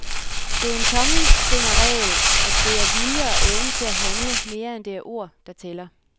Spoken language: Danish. Det er en tommelfingerregel, at det er vilje og evne til at handle, mere end det er ord, der tæller.